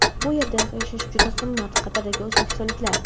bu yerda yashash juda qimmat… – Qatardagi o‘zbekistonliklar.